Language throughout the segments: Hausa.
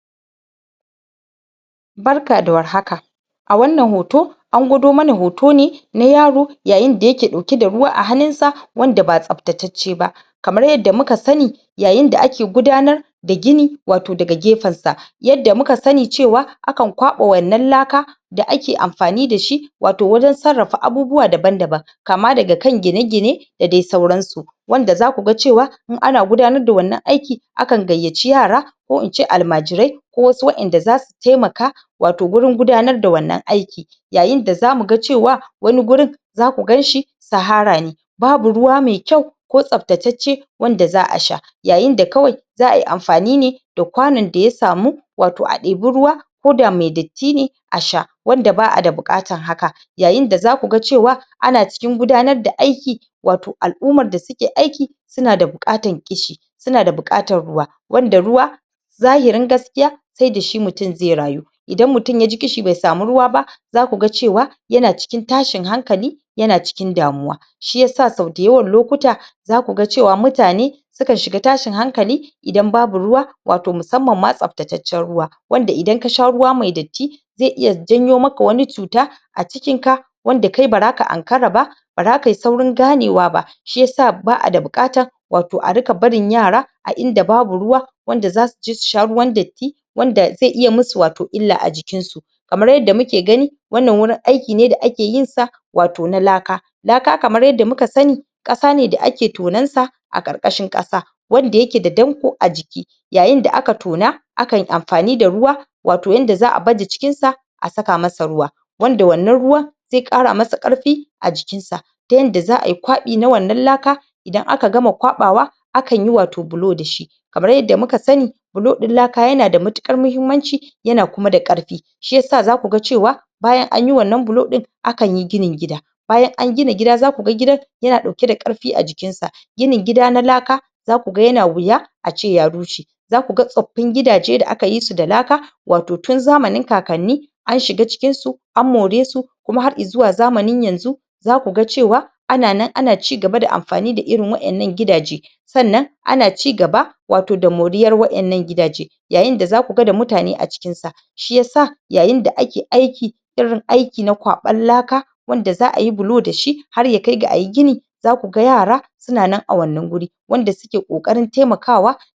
Lokacin da wata cuta ta ɓulla yana da mahimmanci a sanar da jama'a yadda za su kare kansu ba tare da haddasa firgici ba ga wasu hanyoyin da jama'a da jami'an lafiya za su iya amfani da su du don cimma waɗannan daidaito na farko bayar da ingantattun bayanai na gaskiya hukamar lafiya ya kamata ta sanar da jama'a gaskiya amma ta guji yayata bayanai masu haddasa tsoro... masu haddasa tsoro za a iya bayyana matsalar da girmanta cikin kalmomin da ba sa haddasa firgici tare da mayar da hanklali kan matakan kariya na biyu yin amfani likitoci da masana a matsayin a matsayin majiya ana buƙatar a tabbatar da cewa lokitoci da masana masana lafiya su ne ke bayar da, su ne ke jagorantar bayanai ba mutane marasa masaniya dake iya yaɗa jita-jita ba masana su riƙa bayani a cikin harshden da jama'a za su fahimta na uku samun cikakkun shirin... shirin bayani hukumar lafiya ya kamata ta shirya tsarin yadda za a sanar da jama'a cikin lokaci don kada su dogara da jita-jita daga kafafen sada-zumunta ana buƙatar a riƙa sabunta bayanai a-kai-a-kai don kada mutane su faɗa cikin ruɗani na huɗu ƙarfafa matakan kariyar jama'a maimakon maida hankali kan haɗarin cutar kaɗai ya kamata jami'an lafiya su bayyana matakan kariya da ake buƙata misali maimakon ace wannan cuta tana da matuƙar hatsari za a iya cewa idan muka bi waɗannan matakai za mu iya daƙile yaɗuwar ta na biyar haɗin guiwa da jami'an gwamnati da kafafen yaɗa labarai hukumar lafiya ta yi aiki tare da gwamnati da kafafen yaɗa labarai don isar da sahihan bayanai ana buƙatar kaucewa amfani da harshe mai tada hankali kamar amfani da kalmomi irin su annoba sai idan lallai an tabbatar da hakan na shida amfani da fasaha don isar da saƙonnin cikin sauƙi za a iya amfani da fasahohi kamar iyo hotuna da saƙonnin waya don sanar da jama'a a hanya mai sauƙin fahimta a riƙa amfani da kafafen sada zumunta don yaɗa bayanai daga hukumomin lafiya na bakwai ƙarfafa guiwa ƙarfafa guiwar jama'a ya kamata jami'an lafiya su ƙara fahimtar su ƙara fahimtar da jama'a cewa su na da ikon kare kansu idan suka bi matakan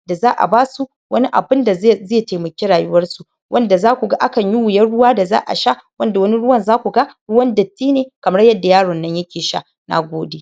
da da aka ba su bayanin ya kamata ya zama mai ƙarfafa zuciya ba wanda zai haddasa tsoro da rashin kwanciyar hankali ba.